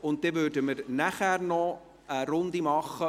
Danach würden wir eine Runde zur Planungserklärung 14 machen.